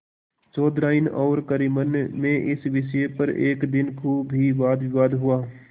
चौधराइन और करीमन में इस विषय पर एक दिन खूब ही वादविवाद हुआ